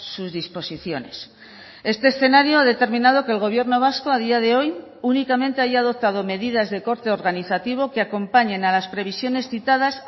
sus disposiciones este escenario ha determinado que el gobierno vasco a día de hoy únicamente haya adoptado medidas de corte organizativo que acompañen a las previsiones citadas